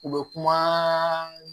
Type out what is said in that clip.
U bɛ kuma